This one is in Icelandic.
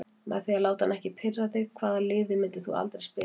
Með því að láta hann ekki pirra þig Hvaða liði myndir þú aldrei spila með?